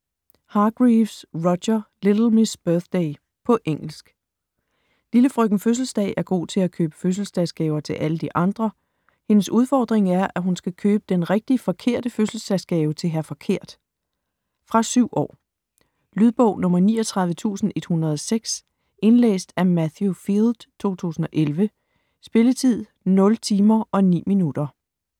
Hargreaves, Roger: Little Miss Birthday På engelsk. Lille Frøken Fødselsdag er god til at købe fødselsdagsgaver til alle de andre. Hendes udfordring er, at hun skal købe den rigtig forkerte fødselsdagsgave til Hr. Forkert. Fra 7 år. Lydbog 39106 Indlæst af Matthew Field, 2011. Spilletid: 0 timer, 9 minutter.